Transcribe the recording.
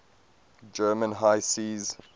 german high seas